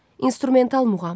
İnstrumental muğam.